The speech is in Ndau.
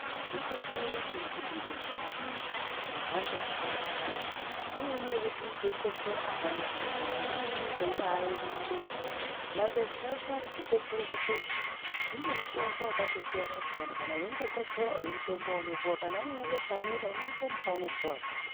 Zvikotsoro kana kuti besha rinemhando dzakabasiyana-siyana kune rimweni rekuti unenge weikotsora apana chinobuda, rimweni unenge weibaerera mabesha. Mabesha eshe aya, zvikotsoro zveshe zvine mutombo wakatosiyana-siyana. Unokotsora une mutombo weunopiwa, Kana unemabesha anoerera unopiwazve.